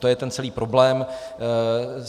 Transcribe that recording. To je ten celý problém.